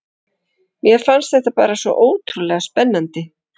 Mér fannst þetta bara svo ótrúlega spennandi.